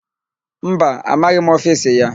Mba, amaghị m ofisi ya.